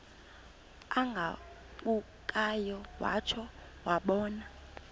agabukayo watsho wabona